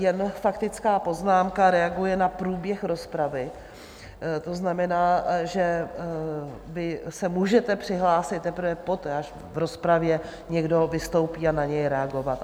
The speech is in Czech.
Jenže faktická poznámka reaguje na průběh rozpravy, to znamená, že vy se můžete přihlásit teprve poté, až v rozpravě někdo vystoupí, a na něj reagovat.